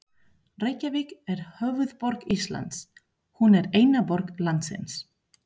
Reykjavík er höfuðborg Íslands. Hún er eina borg landsins.